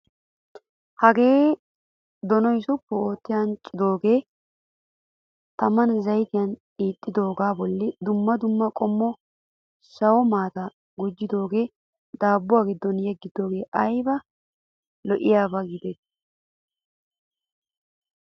Hgee donuwaa suppu ootti anccidoogaa tamaan zayituyan xiixidoogaa bolli dumma dumma qommo sawo maataa gujjidoogaa dabbuwaa giddon yeggidoogee ayiba lo''iyaaba giideti.